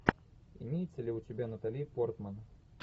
имеется ли у тебя натали портман